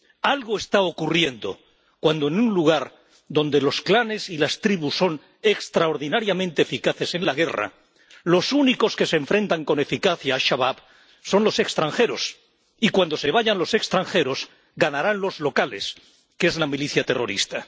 Algo está ocurriendo cuando en un lugar donde los clanes y las tribus son extraordinariamente eficaces en la guerra, los únicos que se enfrentan con eficacia a Al Shabab son los extranjeros, y cuando se vayan los extranjeros, ganarán los locales, que es la milicia terrorista.